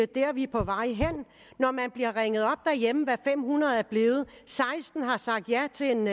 der vi er på vej hen når man bliver ringet op derhjemme hvad fem hundrede personer er blevet seksten har sagt ja til en